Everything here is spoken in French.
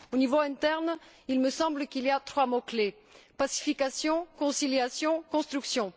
Au niveau interne, il me semble qu'il y a trois mots clés pacification, conciliation et construction.